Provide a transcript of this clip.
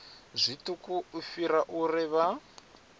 zwiṱuku u fhirisa uri vha